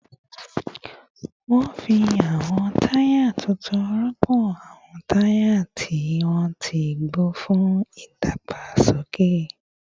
Wọ́n fi àwọn táyà tuntun rọ́pò àwọn táyà tí wọ́n ti gbó fún ìdàgbàsókè